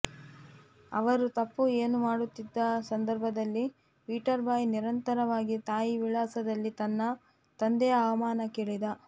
ಅವರು ತಪ್ಪು ಏನು ಮಾಡುತ್ತಿದ್ದ ಸಂದರ್ಭದಲ್ಲಿ ಪೀಟರ್ ಬಾಯ್ ನಿರಂತರವಾಗಿ ತಾಯಿ ವಿಳಾಸದಲ್ಲಿ ತನ್ನ ತಂದೆಯ ಅವಮಾನ ಕೇಳಿದ